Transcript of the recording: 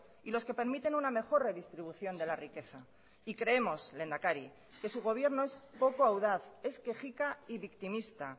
y los que permiten una mejor redistribución de la riqueza y creemos lehendakari que su gobierno es poco audaz es quejica y victimista